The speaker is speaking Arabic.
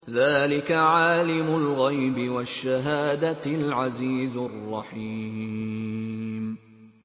ذَٰلِكَ عَالِمُ الْغَيْبِ وَالشَّهَادَةِ الْعَزِيزُ الرَّحِيمُ